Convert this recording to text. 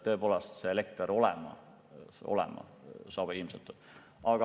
Tõepoolest, elekter saab olemas olema.